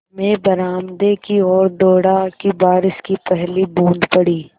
मैं बरामदे की ओर दौड़ा कि बारिश की पहली बूँद पड़ी